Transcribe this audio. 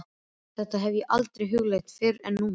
Þetta hef ég aldrei hugleitt fyrr en núna.